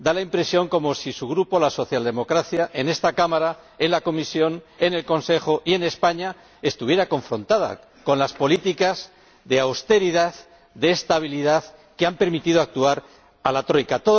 Da la impresión de que su Grupo y la socialdemocracia en esta Cámara, en la Comisión, en el Consejo y en España estuvieran confrontados con las políticas de austeridad, de estabilidad, que han permitido actuar a la Troika.